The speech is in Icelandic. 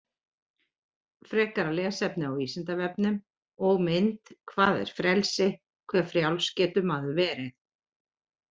Frekara lesefni á Vísindavefnum og mynd Hvað er frelsi, hve frjáls getur maður verið?